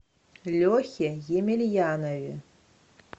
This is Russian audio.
лехе емельянове